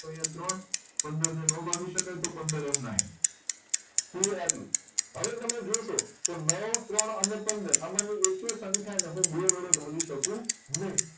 તો અહિયાં ત્રણ પંદર ને નાં ભાગી શકાય તો પંદર એમનાએમ clear આટલું હવે તમે જોશો કે નવ ત્રણ અને પંદર આ માં થી એકેય સંખ્યા ને હું બે વડે ભાગી શકું નહી